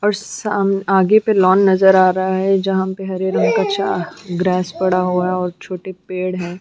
और साम आगे पर लॉन नजर आ रहा है जहाँ पर हरे रंग का ड्रेस पड़ा हुआ है और छोटे पेड़ है।